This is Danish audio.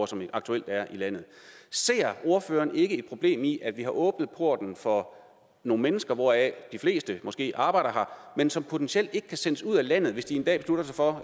som aktuelt er i landet ser ordføreren ikke et problem i at vi har åbnet porten for nogle mennesker hvoraf de fleste måske arbejder her men som potentielt ikke kan sendes ud af landet hvis de en dag beslutter sig for